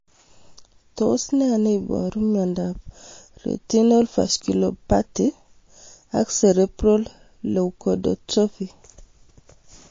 Tos nee neiparu miondop Retinal vasculopathy with cerebral leukodystrophy?